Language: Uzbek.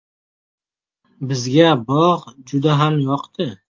Bizga bog‘ juda ham yoqdi.